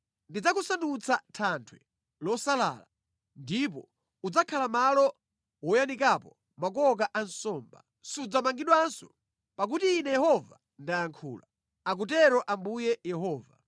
Ndidzakusandutsa thanthwe losalala, ndipo udzakhala malo woyanikapo makoka a nsomba. Sudzamangidwanso, pakuti Ine Yehova ndayankhula, akutero Ambuye Yehova.